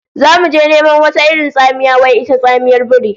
Zamu je neman wata irin tsamiya wai ita tsamiyar biri